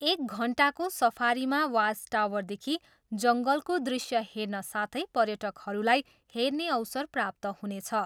एक घन्टाको सफारीमा वाच टावरदेखि जङ्गलको दृश्य हेर्न साथै पर्यटकहरूलाई हेर्ने अवसर प्राप्त हुनेछ।